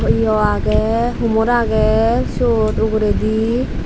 yo agey humor agey siyot uguredi.